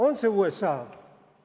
On see USA?